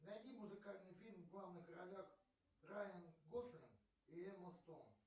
найди музыкальный фильм в главных ролях райан гослинг и эмма стоун